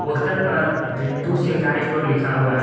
Poster पर Ritu Shringar store लिखा हुआ है।